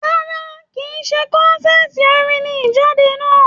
Rárá, kìí ṣe kọ́nsàtii orin ní Ijade náà.